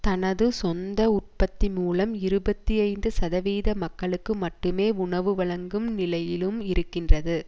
தனது சொந்த உற்பத்தி மூலம் இருபத்தி ஐந்து சதவித மக்களுக்கு மட்டுமே உணவு வழங்கும் நிலையிலும் இருக்கின்றது